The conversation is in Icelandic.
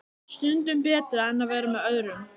Stundum betra en að vera með öðrum.